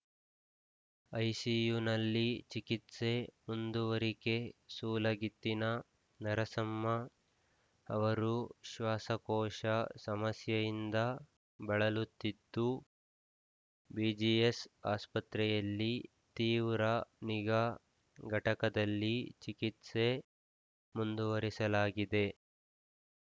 ಐಸಿಯುನಲ್ಲಿ ಚಿಕಿತ್ಸೆ ಮುಂದುವರಿಕೆ ಸೂಲಗಿತ್ತಿನ ನರಸಮ್ಮ ಅವರು ಶ್ವಾಸಕೋಶ ಸಮಸ್ಯೆಯಿಂದ ಬಳಲುತ್ತಿದ್ದು ಬಿಜಿಎಸ್‌ ಆಸ್ಪತ್ರೆಯಲ್ಲಿ ತೀವ್ರ ನಿಗಾ ಘಟಕದಲ್ಲಿ ಚಿಕಿತ್ಸೆ ಮುಂದುವರೆಸಲಾಗಿದೆ